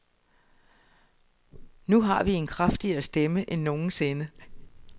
Nu har vi en kraftigere stemme end nogensinde.